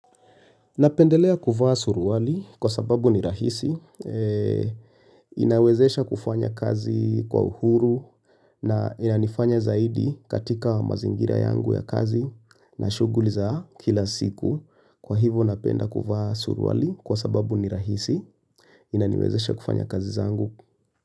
Napendelea kuvaa suruali kwa sababu ni rahisi, inawezesha kufanya kazi kwa uhuru na inanifanya zaidi katika mazingira yangu ya kazi na shughuli za kila siku. Kwa hivo napenda kuvaa suruali kwa sababu ni rahisi, inaniwezesha kufanya kazi zangu.